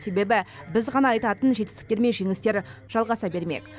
себебі біз ғана айтатын жетістіктер мен жеңістер жалғаса бермек